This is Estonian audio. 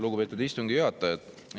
Lugupeetud istungi juhataja!